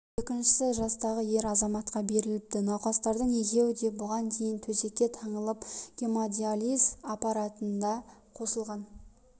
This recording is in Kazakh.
екіншісі жастағы ер азаматқа беріліпті науқастардың екеуі де бұған дейін төсекке таңылып гемодиализ аппаратына қосылған